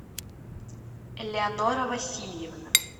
элеонора васильевна